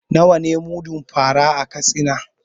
Nawa ne mudun fa ra a Katsina?